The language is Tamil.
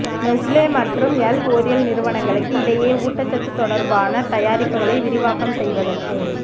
நெஸ்லே மற்றும் எல்ஓரியல் நிறுவனங்களுக்கு இடையே ஊட்டச்சத்து தொடர்பான தயாரிப்புகளை விரிவாக்கம் செய்வதற்கு